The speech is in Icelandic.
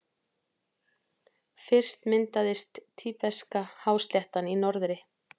Fyrst myndaðist Tíbeska-hásléttan í norðri.